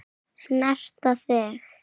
Snerta þig.